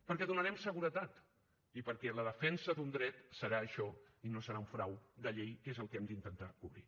perquè donarem seguretat i perquè la defensa d’un dret serà això i no serà un frau de llei que és el que hem d’intentar cobrir